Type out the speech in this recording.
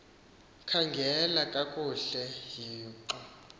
khangela kakuhle hixo